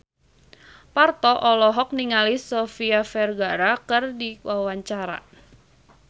Parto olohok ningali Sofia Vergara keur diwawancara